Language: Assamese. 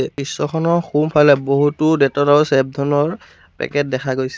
দৃশ্যখনৰ সোঁফালে বহুত ডেটলৰ পেকেট দেখা গৈছে।